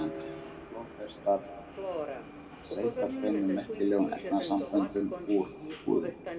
Flóðhestar seyta tveimur merkilegum efnasamböndum úr húðinni.